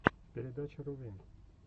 передача рувин